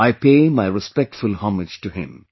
I pay my respectful homage to him